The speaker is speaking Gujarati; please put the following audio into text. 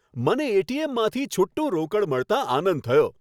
મને એ.ટી.એમ.માંથી છુટ્ટું રોકડ મળતાં આનંદ થયો.